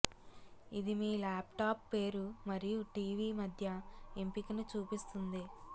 ఇది మీ ల్యాప్టాప్ పేరు మరియు టీవీ మధ్య ఎంపికను చూపిస్తుంది